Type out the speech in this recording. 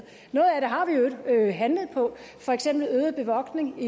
øvrigt handlet på for eksempel øget bevogtning